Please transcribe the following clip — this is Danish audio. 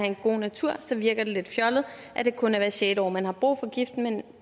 en god natur så virker det lidt fjollet at det kun er hvert sjette år man har brug for giften men